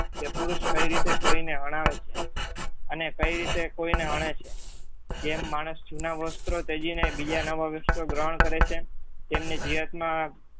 પુરુષ કઈ રીતે કોઈને હણાવે છે. અને કઈ રીતે કોઈને હણે છે. જેમ માણસ જુના વસ્ત્રો તજીને બીજા નવા વસ્ત્રો ગ્રહણ કરે છે તેમને ધિરતમાં